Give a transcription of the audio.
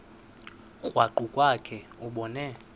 krwaqu kwakhe ubone